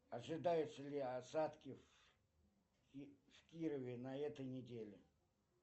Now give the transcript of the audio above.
ожидаются ли осадки в кирове на этой неделе